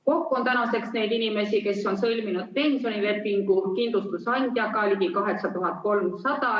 Kokku on tänaseks neid inimesi, kes on sõlminud pensionilepingu kindlustusandjaga, ligi 8300.